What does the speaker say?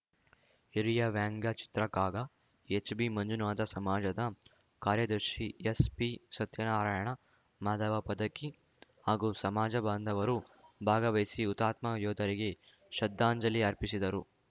ಹಿರಿಯ ವ್ಯಂಗ್ಯ ಚಿತ್ರಕಾಗ ಎಚ್‌ಬಿಮಂಜುನಾಥ ಸಮಾಜದ ಕಾರ್ಯದರ್ಶಿ ಎಸ್‌ಪಿಸತ್ಯನಾರಾಯಣ ಮಾಧವ ಪದಕಿ ಹಾಗೂ ಸಮಾಜ ಬಾಂಧವರು ಭಾಗವಹಿಸಿ ಹುತಾತ್ಮ ಯೋಧರಿಗೆ ಶ್ರದ್ಧಾಂಜಲಿ ಅರ್ಪಿಸಿದರು